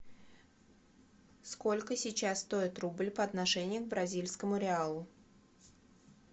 сколько сейчас стоит рубль по отношению к бразильскому реалу